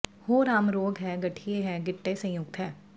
ਹੋਰ ਆਮ ਰੋਗ ਹੈ ਗਠੀਏ ਹੈ ਗਿੱਟੇ ਸੰਯੁਕਤ ਹੈ